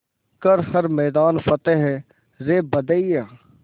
कर हर मैदान फ़तेह रे बंदेया